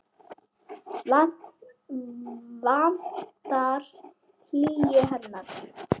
Vantar hlýju hennar.